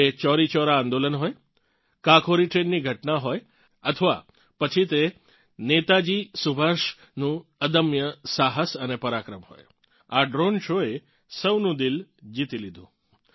એ ચોરી ચોરા આંદોલન હોય કાકોરી ટ્રેનની ઘટના હોય અથવા પછી તે નેતાજી સુભાષનું અદમ્ય સાહસ અને પરાક્રમ હોય આ દ્રોણે શો એ સૌનું દિલ જીતી લીધું